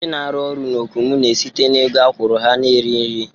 Ndị na-arụ orụ na Okomu na-esite n'ego akwụrụ ha na-eri nri